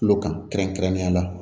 Kulo kan kɛrɛnkɛrɛnnenya la